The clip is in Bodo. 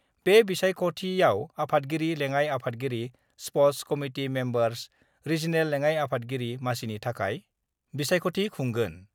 बे बिसायख'थिआव आफादगिरि, लेङाइ आफादगिरि, स्पर्टसकमिटि मेम्बार्स, रिजिनेल लेङाइ आफादगिरि मासिनि थाखाय बिसायख'थि खुंगोन।